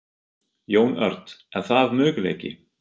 Jón Örn: Er það möguleiki?